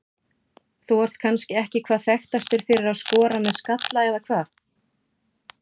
Þú ert kannski ekki hvað þekktastur fyrir að skora með skalla eða hvað?